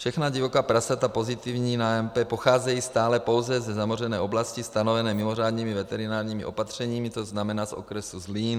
Všechna divoká prasata pozitivní na AMP pocházejí stále pouze ze zamořené oblasti stanovené mimořádnými veterinárními opatřeními, to znamená z okresu Zlín.